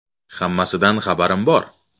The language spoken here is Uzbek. Hammasidan xabarim bor.